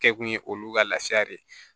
Kɛ kun ye olu ka lafiya de ye